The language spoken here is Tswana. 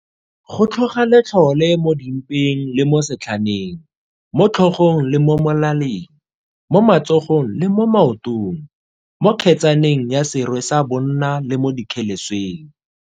Go tlhoga letlhole mo di mpeng le mo setlhaneng, mo tlhogong le mo molaleng, mo matsogong le mo maotong, mo kgetsaneng ya serwe sa bonna le mo dikgelesweng.